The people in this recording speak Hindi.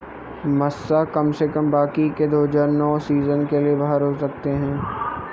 मास्सा कम से कम बाकी के 2009 सीज़न के लिए बाहर हो सकते हैं